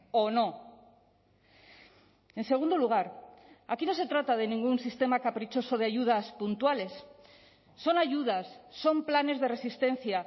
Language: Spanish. o no en segundo lugar aquí no se trata de ningún sistema caprichoso de ayudas puntuales son ayudas son planes de resistencia